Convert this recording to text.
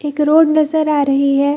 एक रोड नज़र आ रही है।